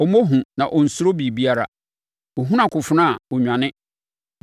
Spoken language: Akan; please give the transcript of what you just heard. Ɔmmɔ hu, na ɔnsuro biribiara; ɔhunu akofena a ɔnnwane.